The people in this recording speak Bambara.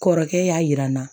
Kɔrɔkɛ y'a yira n na